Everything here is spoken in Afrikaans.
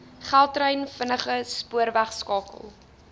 gautrain vinnige spoorwegskakel